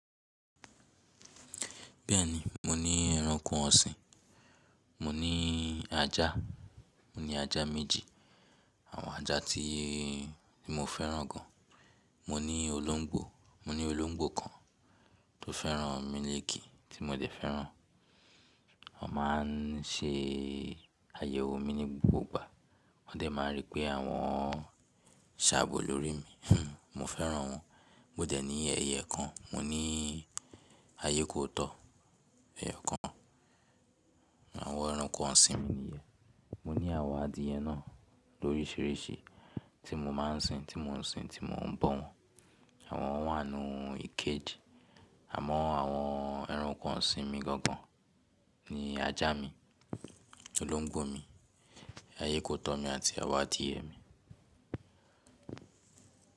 Bẹ́ẹ̀ni, mo ní ẹranko ọ̀sìn. Mo ní ajá, mo ní ajá méjì, àwọn ajá tí mo fẹ́ràn gan. Mo ní olóńgbò, mo ní olóńgbò kan tó fẹ́ràn mílik tí mo dẹ̀ fẹ́ràn. O má ń ṣe àyẹ̀wò mi ní gbogbo ìgbà. Wọ́n dẹ̀ máa rí pé àwọn ṣàbò lórí mi. Mo fẹ́ràn wọn. Mo dẹ̀ ní ẹyẹ kan, mo ní ayékòótọ́ ẹyokan. Àwọn ẹranko ọ̀sìn mi nìyẹn. Mo ní àwọn adyìẹ náà lóríṣiiríṣii tí mo má ń sin, tí mo ń sin, tí mo ń bọ́ wọn. Àwọn wà nínú keeji àmọ́ àwọn ẹranko ọ̀sìn mi gangan ni ajá mi, olóńgbò mi, ayékòótọ́ mi àti àwọn adìyẹ mi.